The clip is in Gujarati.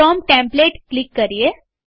ફ્રોમ ટેમપ્લેટ ક્લિક કરીએ